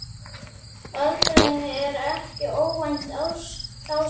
Öldrun er ekki óvænt ástand.